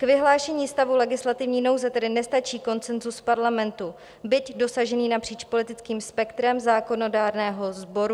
K vyhlášení stavu legislativní nouze tedy nestačí konsenzus parlamentu, byť dosažený napříč politickým spektrem zákonodárného sboru.